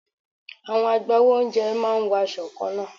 Àwọn agbawo oúnjẹ máa ń wọ aṣọ kanna.